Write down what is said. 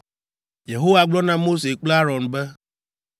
Yehowa gblɔ na Mose kple Aron be,